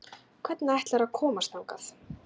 Hvernig ætlarðu að komast þangað?